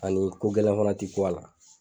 Ani ko gɛlɛn fana ti k'u a la